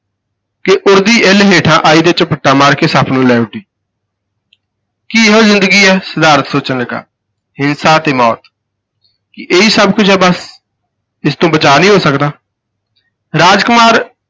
ਕਿ ਉਡਦੀ ਇੱਲ ਹੇਠਾਂ ਆਈ ਤੇ ਝਪੱਟਾ ਮਾਰ ਕੇ ਸੱਪ ਨੂੰ ਲੈ ਉੱਡੀ ਕੀ ਇਹੋ ਜ਼ਿੰਦਗੀ ਹੈ ਸਿਧਾਰਥ ਸੋਚਣ ਲੱਗਾ, ਹਿੰਸਾ ਤੇ ਮੌਤ, ਕੀ ਇਹੀ ਸਭ ਕੁੱਝ ਹੈ ਬੱਸ, ਇਸ ਤੋਂ ਬਚਾਅ ਨਹੀਂ ਹੋ ਸਕਦਾ ਰਾਜ ਕੁਮਾਰ